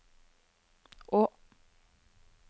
å